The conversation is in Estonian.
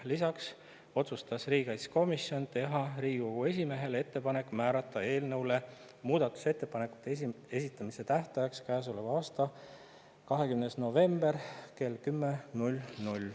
Lisaks otsustas riigikaitsekomisjon teha Riigikogu esimehele ettepaneku määrata eelnõu muudatusettepanekute esitamise tähtajaks käesoleva aasta 20. november kell 10.